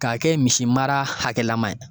Ka kɛ misi mara hakɛlaman ye.